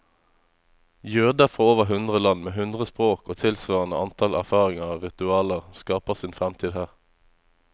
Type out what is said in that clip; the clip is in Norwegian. Jøder fra over hundre land, med hundre språk og tilsvarende antall erfaringer og ritualer, skaper sin fremtid her.